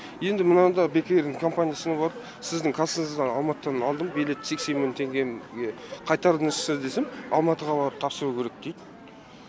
енді мынада бек эйрдің компаниясына барып сіздің кассыңыздан алматыдан алдым билет сексен мың қайтарыңызшы десем алматыға барып тапсыру керек дейді